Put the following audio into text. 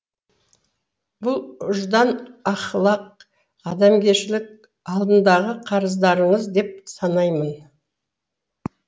бұл ұждан ахлақ адамгершілік алдындағы қарыздарыңыз деп санаймын